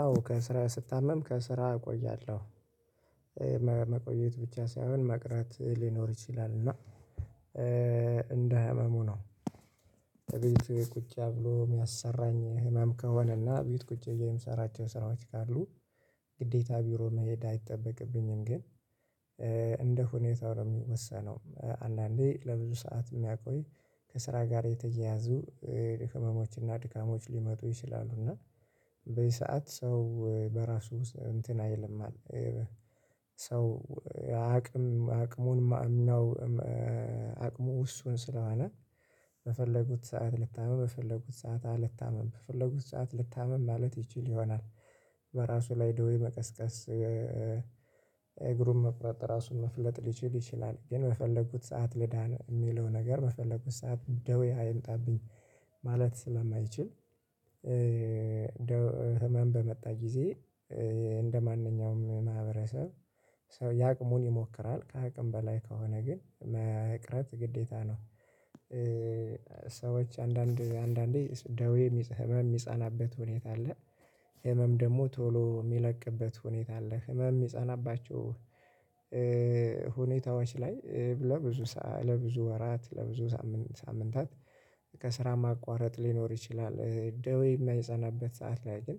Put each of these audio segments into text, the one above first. አዎ ከስራ ስታመም ከስራ እቆያለሁ። መቆየት ብቻ ሳይሆን መቅረት ሊኖር ይችላል እና እንደህመሙ ነው እቤት ቁጭ ብሎ የሚያሰራኝ ህመም ከሆነና ቤት ቁጭ ብዬ የምሰራቸው ስራዎች ካሉ ግዴታ ቢሮ መሄድ አይጠበቅብኝም ግን እንደ ሁኔታው ነው የሚወሰነው አንዳንዴ ለብዙ ሰዓት የሚያቆይ ከስራ ጋር የተያያዙ ህመሞች እና ድካሞች ሊመጡ ይችላሉ እና በዚ ሰዓት ሰው በራሱ እንትን አይልም ሰው አቅም አቅሙን ማዕኛው አቅሙ ዉስን ስለሆነ በፈለጉት ሰዓት ልታምም በፈለጉት ሰዓት አልታምም በፈለጉት ሰዓት ልታምም ማለት ይችል ይሆናል በራሱ ላይ ደዌ መቀስቀስ እግሩን መቁረጥ ራሱን መፍለጥ ሊችል ይችላል ግን በፈለጉት ሰዓት ልዳን የሚለው ነገር በፈለጉት ሰዓት ደዌ አይምጣብኝ ማለት ስለማይችል ህመም በመጣ ጊዜ እንደማንኛውም ማህበረሰብ ሰው ያቅሙን ይሞክራል ከአቅም በላይ ከሆነ ግን መቅረት ግዴታ ነው። ሰዎች አንዳንድ አንዳንዴ ደዌ ህመም የሚጸናበት ሁኔታ አለ፣ ህመም ደግሞ ቶሎ የሚለቅበት ሁኔታ አለ። ህመም የሚጸናባቸው ሁኔታዎች ላይ ለብዙ ሰዓት ለብዙ ወራት ለብዙ ሳምንታት ከስራ ማቋረጥ ሊኖር ይችላል። ደዌ የማይጸናበት ሰዓት ላይ ግን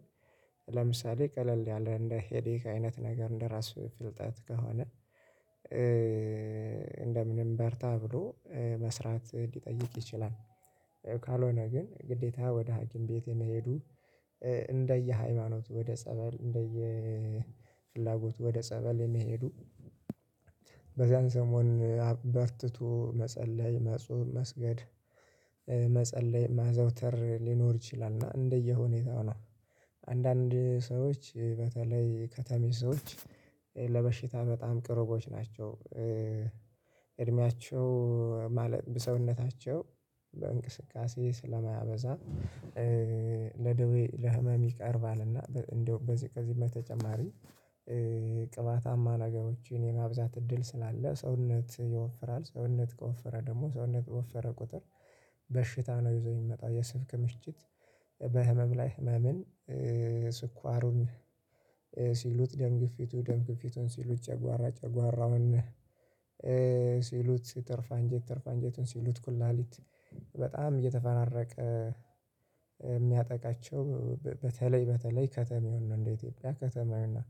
ለምሳሌ ቀለል ያለ እንደ ሄዴክ አይነት ነገር እንደራስ ፍልጠት ከሆነ እንደምንም በርታ ብሎ መስራት ሊጠይቅ ይችላል። ካልሆነ ግን ግዴታ ወደ ሀኪም ቤት የመሄዱ እንደየ ሃይማኖት ወደ ጸበል እንደየ ፍላጎቱ ወደ ጸበል የሚሄዱ በዛን ሰሞን አ በርትቶ መጸለይ፣ መጾም፣ መስገድ መጸለይ ማዘውተር ሊኖር ይችላል እና እንደየሁኔታው ነው። አንዳንድ ሰዎች በተለይ ከተሜ ሰዎች ለበሽታ በጣም ቅርቦች ናቸው፣ እድሜያቸው ማለት ሰውነታቸው በእንቅስቃሴ ስለማያበዛ ለደዌ፣ ለህመም ይቀርባልና እንደው በዚህ ከዚህም በተጨማሪ ቅባታማ ነገሮችን የማብዛት እድል ስላለ ሰውነት ይወፍራል። ሰውነት ከወፈረ ደግሞ ሰውነት በወፈረ ቁጥር በሽታ ነው ይዞ የሚመጣው የስብ ክምችት በህመም ላይ ህመምን ስኳሩን ሲሉት፣ ደም ግፊቱ፣ ደም ግፊቱን ሲሉት ጨጓራ ጨጓራውን ሲሉት ትርፍ አንጀት ትርፍ አንጀቱን ሲሉት ኩላሊት በጣም እየተፈራረቀ የሚያጠቃቸው በተለይ በተለይ ከተሜውን ነው እንደ ኢትዮጵያ ከተማውን ነው።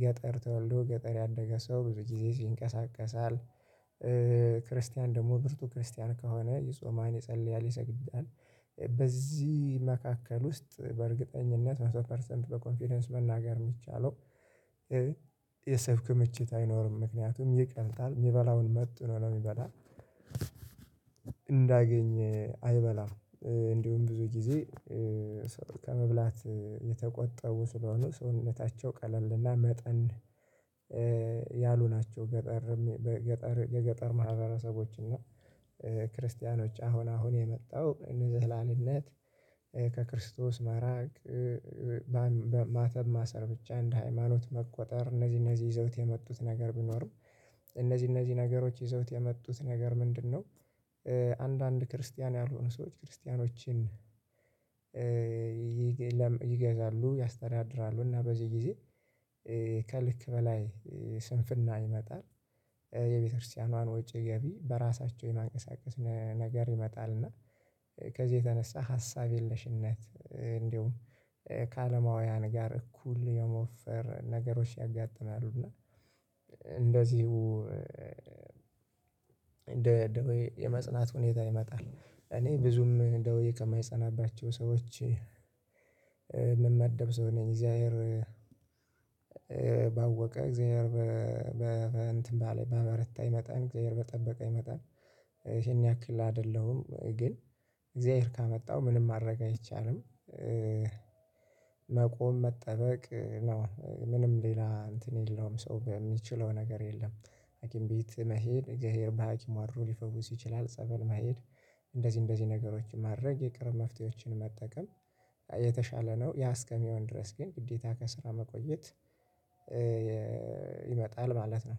ገጠር ተወልዶ ገጠር ያደገ ሰው ብዙ ጊዜ ይንቀሳቀሳል፣ ክርስቲያን ደግሞ ብርቱ ክርስቲያን ከሆነ ይጾማን፣ ይጸልያል፣ ይሰግዳል፣ በዚህ መካከል ውስጥ በእርግጠኝነት መቶ ፐርሰንት በኮንፊደንስ መናገር የሚቻለው የሰው ክምችት አይኖርም ምክንያቱም ይቀልጣል የሚበላውን መጥኖ ነው የሚበላው እንዳገኘ አይበላም፤ እንዲሁም ብዙ ጊዜ ከመብላት የተቆጠቡ ስለሆነ ሰውነታቸው ቀለልና መጠን ያሉ ናቸው ገጠር የገጠር ማህበረሰቦች እና ክርስቲያኖች አሁን አሁን የመጣው እንዝላልነት ከክርስቶስ ማራቅ ማተብ ማሰር ብቻ እንደ ሃይማኖት መቁጠር እነዚህ እነዚህ ይዘውት የመጡት ነገር ቢኖሩም እነዚህ እነዚህ ነገሮች ይዘውት የመጡት ነገር ምንድነው፣ አንዳንድ ክርስቲያን ያልሆኑ ሰዎች ክርስቲያኖችን ይገዛሉ፣ ያስተዳድራሉ እና በዚህ ጊዜ ከልክ በላይ ስንፍና ይመጣል። የቤተክርስቲያኗን ወጪ ገቢ በራሳቸው የማንቀሳቀስ ነገር ይመጣል እና ከዚህ የተነሳ ሀሳብ የለሽነት እንዲሁም ከአለማውያን ጋር እኩል የመወፈር ነገሮች ያጋጥማሉ እና እንደዚሁ እንደ ደዌ የመጽናት ሁኔታ ይመጣል እኔ ብዙም ደዌ ከማይጸናባቸው ሰዎች የምመደብ ሰው ነኝ እግዚአብሔር ባወቀ እግዚአብሔር በ በ እንትን ባለ ባበረኝ መጠን እግዚአብሔር በጠበቀኝ መጠን ይሄን ያክል አይደለሁም ግን እግዚአብሔር ካመጣው ምንም ማድረግ አይቻልም፣ መቆም መጠበቅ ምንም ሌላ እንትን የለውም ሰው በሚችለው ነገር የለም። ሀኪም ቤት መሄድ እግዚአብሔር በሀኪሙ አድሮ ሊፈውስ ይችላል። ጸበል መሄድ እንደዚህ እንደዚህ ነገሮችን ማድረግ የቅርብ መፍትሄዎችን መጠቀም የተሻለ ነው ያ እስከሚሆን ድረስ ግን ግዴታ ከስራ መቆየት ይመጣል ማለት ነው።